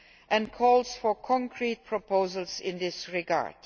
and calls for concrete proposals in this regard.